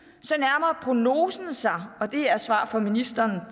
så nærmer prognosen sig og det er i et svar fra ministeren